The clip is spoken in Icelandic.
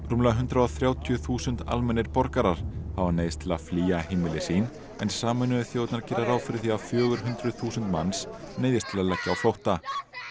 rúmlega hundrað og þrjátíu þúsund almennir borgarar hafa neyðst til að flýja heimili sín en Sameinuðu þjóðirnar gera ráð fyrir því að fjögur hundruð þúsund manns neyðist til að leggja á flótta